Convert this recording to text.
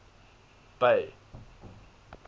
bay